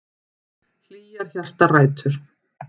Hlýjar hjartarætur.